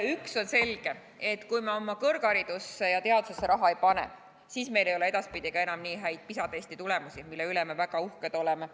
Üks on selge: kui me oma kõrgharidusse ja teadusesse raha ei pane, siis ei ole meil edaspidi ka enam nii häid PISA testi tulemusi, mille üle me väga uhked oleme.